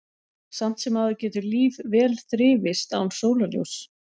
Samt sem áður getur líf vel þrifist án sólarljóss.